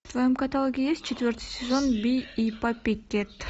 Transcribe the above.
в твоем каталоге есть четвертый сезон би и паппикэт